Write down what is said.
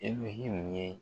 E bɛ ye.